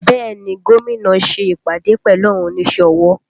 Bẹẹ ni, Gómìnà ṣe ìpàdé pẹ̀lú àwọn onísẹ́ ọwọ́